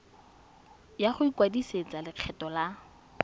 ya go ikwadisetsa lekgetho la